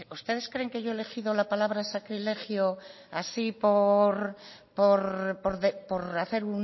ustedes creen que yo he elegido la palabra sacrilegio así por hacer